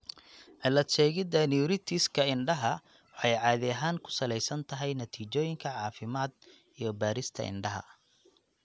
Cilad-sheegidda neuritis-ka indhaha waxay caadi ahaan ku salaysan tahay natiijooyinka caafimaad iyo baadhista indhaha.